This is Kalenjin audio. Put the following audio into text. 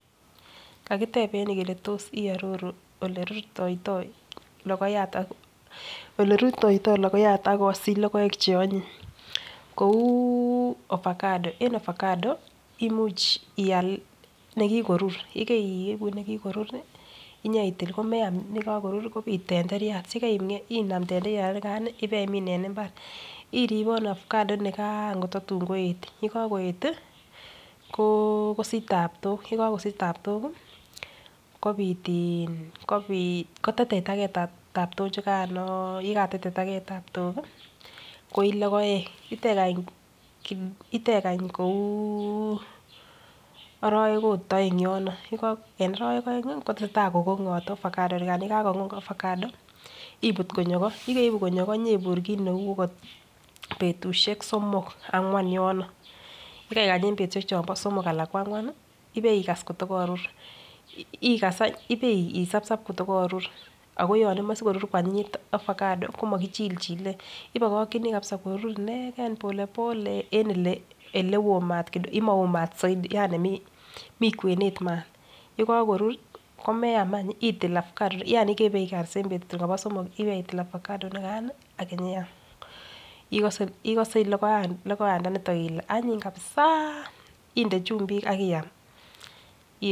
kagiteeb en ireyu kele tos iororu ele ruitoitoi logoyaat ak kosich logoek cheonyiny, kouu ovacado, en ovacado imuch iall negigorur yegoiibu negigorur iih inyaitil komeam negagorur kobiit tenderiat, inaam tenderiat inigaan ibaimin en imbaar iribonu tenderiat inigaan kototun koet, yegagoet iih kosich taabtook, yegagosich taabtook iih kobiit iin koteiteita gee taabtook chuganoo, ye gateiteitagee taabtool iih koii logoek itegany kouuu orowek ot oeng yono en orowek oeng iih kotesetai kogonyoot ovacado koor yegagogong ovacado ibuut konyo ko yegoiibu konyo ko inyoiburr kiit neuu ogot betushek somok angwaan yono yegaigany en betushek chon somok alaan kwa angwaan iih ibeigaas kotogorur, igaas ibeisabsab kotogorur agon yon imoche koruru kwanyinyit ovacado komogichilchile ibokokyinii korur inegeen polepole en ele maoo maat zaidi ani mii kweneet maat, yekagorur komeyaam any iih itil ovacado yani igere en betutab somok iih ibetil ovacado inigaan iih ak inyeyaam igose logoyaat initon ile anyiny kabisaaaa inde chumbik ak iyaam.